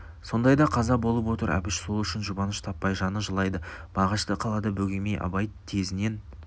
сондайда қаза болып отыр әбіш сол үшін жұбаныш таппай жаны жылайды мағашты қалада бөгемей абай тезінен